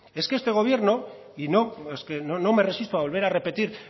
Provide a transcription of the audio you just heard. es que este gobierno y es que no me resisto a volver a repetir